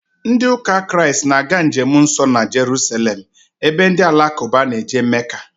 Ndị ụka Kraịst na-aga njemnsọ na Jeruselem ebe ndị alakụba na-eje Meka